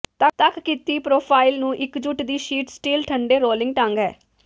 ਤੱਕ ਕੀਤੀ ਪਰੋਫਾਈਲ ਨੂੰ ਇੱਕਜੁਟ ਦੀ ਸ਼ੀਟ ਸਟੀਲ ਠੰਡੇ ਰੋਲਿੰਗ ਢੰਗ ਹੈ